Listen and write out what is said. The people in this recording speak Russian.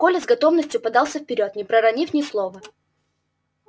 коля с готовностью подался вперёд не проронив ни слова